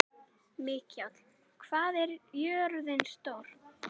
Mikjáll, hvað er jörðin stór?